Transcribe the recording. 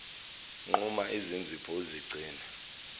nquma izinzipho uzigcine